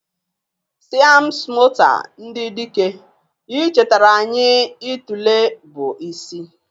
Siam smota ndị dike, ichetara anyị itule bụ isi.